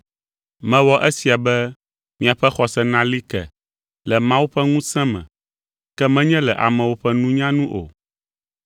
Mewɔ esia be miaƒe xɔse nali ke le Mawu ƒe ŋusẽ me, ke menye le amewo ƒe nunya nu o.